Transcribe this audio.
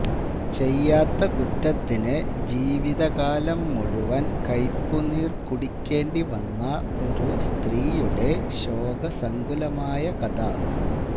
ചെയ്യാത്ത കുറ്റത്തിന് ജീവിതകാലം മുഴുവൻ കൈയ്പുനീർ കുടിക്കേണ്ടിവന്ന ഒരു സ്ത്രീയുടെ ശോകസങ്കുലമായ കഥ